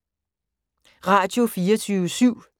Radio24syv